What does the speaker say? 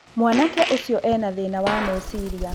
Mwanake ũcio ena thĩĩna wa meecĩrĩa